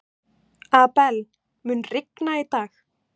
Abel, mun rigna í dag?